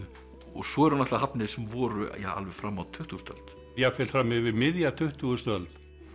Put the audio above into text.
svo eru náttúrulega hafnir sem voru alveg fram á tuttugustu öld jafnvel fram yfir miðja tuttugustu öld